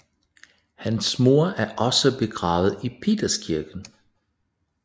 Hans mor er også begravet i Peterskirken